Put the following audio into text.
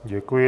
Děkuji.